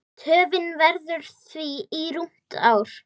Töfin verður því rúmt ár.